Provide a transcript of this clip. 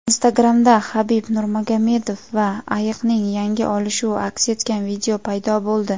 Instagram’da Habib Nurmagomedov va ayiqning yangi "olishuvi" aks etgan video paydo bo‘ldi.